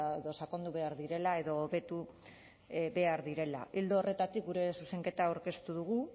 edo sakondu behar direla edo hobetu behar direla ildo horretatik gure zuzenketa aurkeztu dugu